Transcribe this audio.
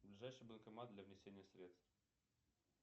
ближайший банкомат для внесения средств